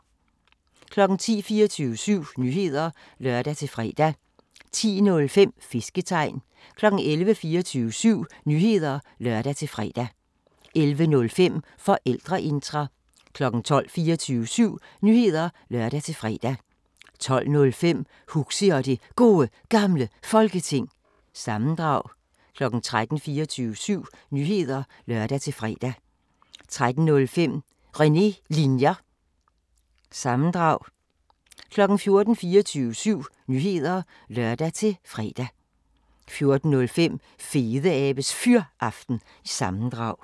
10:00: 24syv Nyheder (lør-fre) 10:05: Fisketegn 11:00: 24syv Nyheder (lør-fre) 11:05: Forældreintra 12:00: 24syv Nyheder (lør-fre) 12:05: Huxi og det Gode Gamle Folketing – sammendrag 13:00: 24syv Nyheder (lør-fre) 13:05: René Linjer- sammendrag 14:00: 24syv Nyheder (lør-fre) 14:05: Fedeabes Fyraften – sammendrag